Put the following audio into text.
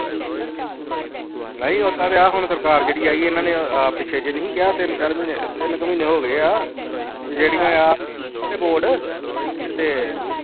ਨਹੀਂ ਓਦਾਂ ਤੇ ਆਹ ਹੁਣ ਸਰਕਾਰ ਜਿਹੜੀ ਆਈ ਇਹਨਾਂ ਨੇ ਆਹ ਪਿੱਛੇ ਜਿਹੇ ਨੀ ਕਿਹਾ ਤਿੰਨ ਚਾਰ ਮਹੀਨੇ, ਤਿੰਨ ਕੁ ਮਹੀਨੇ ਹੋ ਗਏ ਆ, ਤੇ ਜਿਹੜੀ ਬੋਰਡ ਇਹਦੇ ਤੇ